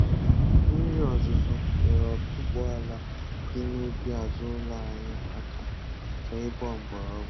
Mmiri ozuzu nyere otuboala dị n'ubi azụ ụlọ anyị aka ka ịgba mgbọrọgwụ